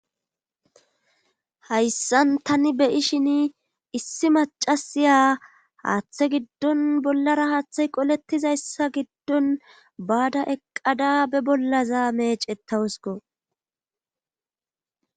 hayssan tani be7ishini issi maccasiya haatte giddon bollara haattay qolettizayssa giddon baada eqqada be bollaza meecettawuskko.